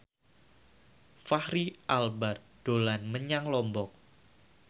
Fachri Albar dolan menyang Lombok